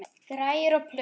Græjur og plötur.